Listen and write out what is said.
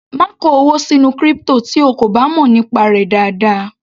Má kó owó sínú crypto tí o kò bá mọ̀ nípa rẹ̀ dáadáa.